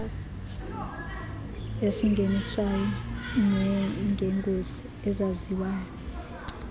esingeniswayo nangeengozi ezaziwayo